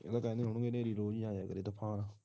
ਉਹ ਤਾਂ ਕਹਿੰਦੇ ਹੋਣੇ ਐ ਹਨੇਰੀ ਰੋਜ ਹੀ ਆ ਜਾਂਦੀ ਦਿਖਾਉਣ